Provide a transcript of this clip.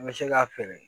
N bɛ se k'a feere